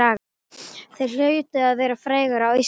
Þeir hlutu að vera frægir á Íslandi.